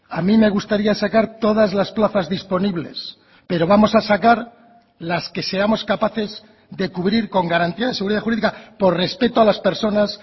a mí me gustaría sacar todas las plazas disponibles pero vamos a sacar las que seamos capaces de cubrir con garantía de seguridad jurídica por respeto a las personas